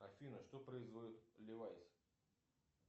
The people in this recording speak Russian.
афина что производит левайс